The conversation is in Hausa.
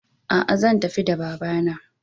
A'a zan tafi da babana.